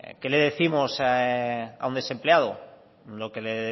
qué le décimos a un desempleado lo que le